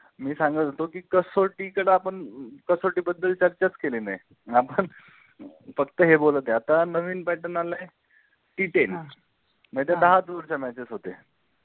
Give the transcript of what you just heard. मी साांगत होतो कि कसोटी कड आपण अ अ कसोटी बद्दल चर्चा च केली नाही आपण फक्त हे बोलत आहे आता हे नवीन pattern आलाय कि TEN नाही तर दहाच दिवसाच्या matches होते.